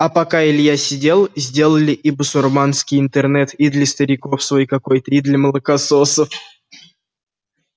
а пока илья сидел сделали и басурманский интернет и для стариков свой какой-то и для молокососов